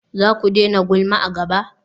Zaku daina gulma a gaba?